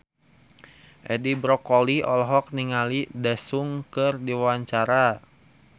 Edi Brokoli olohok ningali Daesung keur diwawancara